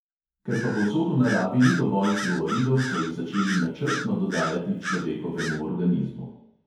Ker pa povsod v naravi ni dovolj fluoridov, so jih začeli načrtno dodajati človekovemu organizmu.